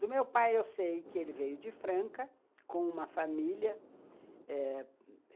Do meu pai, eu sei que ele veio de Franca, com uma família eh